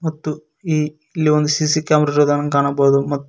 ಮತ್ತು ಈ ಇಲ್ಲಿ ಒಂದು ಸಿಸಿ ಕ್ಯಾಮರ್ ಇರೋದನ್ನ ಕಾಣಬಹುದು.